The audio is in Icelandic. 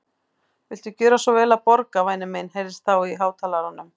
Viltu gjöra svo vel að borga, væni minn heyrðist þá í hátalaranum.